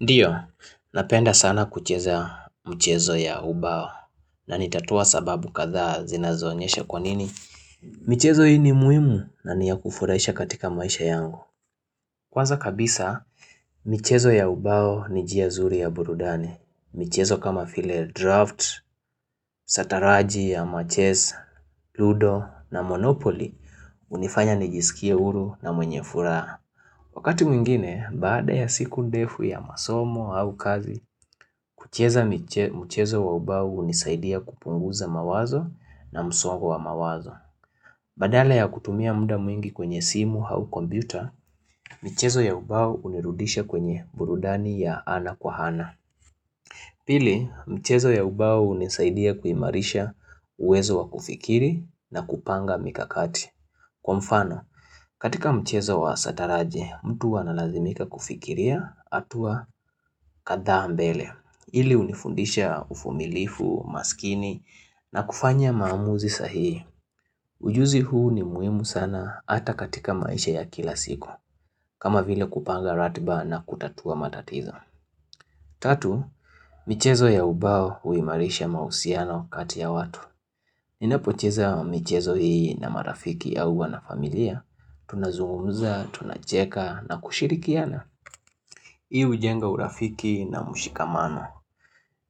Ndiyo, napenda sana kucheza mchezo ya ubao na nitatoa sababu kadha zinazoonyesha kwa nini. Michezo hii ni muhimu na ni yakufurahisha katika maisha yangu. Kwanza kabisa, michezo ya ubao ni njia zuri ya burudani. Michezo kama vile draft, sataraji ama chess, ludo na monopoli hunifanya nijisikie huru na mwenye furaha. Wakati mwingine, baada ya siku ndefu ya masomo au kazi, kucheza mchezo wa ubao hunisaidia kupunguza mawazo na msongo wa mawazo. Badala ya kutumia muda mwingi kwenye simu au kompyuta, michezo ya ubao hunirudisha kwenye burudani ya ana kwa ana. Pili, mchezo ya ubau hunisaidia kuimarisha uwezo wa kufikiri na kupanga mikakati. Kwa mfano, katika mchezo wa sataraji, mtu huwa analazimika kufikiria hatua kadhaa mbele. Hili hunifundisha uvumilivu, umaskini na kufanya maamuzi sahihi. Ujuzi huu ni muhimu sana hata katika maisha ya kila siku. Kama vile kupanga ratiba na kutatua matatizo. Tatu, michezo ya ubao huimarisha mahusiano kati ya watu. Ninapocheza michezo hii na marafiki au huwa na familia, tunazungumza, tunacheka na kushirikiana. Hii hujenga urafiki na mushikamano.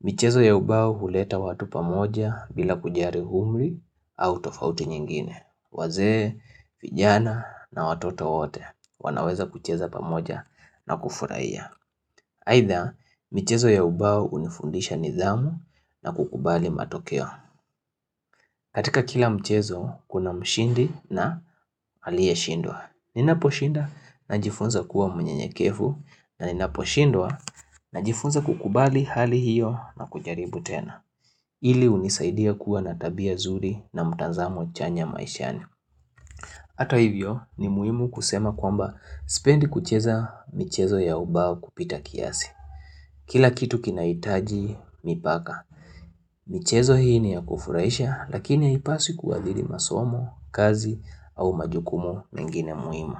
Mchezo ya ubao huleta watu pamoja bila kujali umri au tofauti nyingine. Wazee, vijana na watoto wote wanaweza kucheza pamoja na kufurahia Aidha, michezo ya ubao hunifundisha nidhamu na kukubali matokeo. Katika kila mchezo kuna mshindi na aliyeshindwa. Ninaposhinda najifunza kuwa mnyenyekevu na ninaposhindwa najifunza kukubali hali hiyo na kujaribu tena. Hili hunisaidia kuwa na tabia zuri na mtazamo chanya maishani. Hato hivyo ni muhimu kusema kwamba sipendi kucheza michezo ya ubao kupita kiasi. Kila kitu kinahitaji, mipaka. Michezo hii ni ya kufurahisha, lakini ya haipaswi kuadhiri masomo, kazi au majukumu mengine muhimu.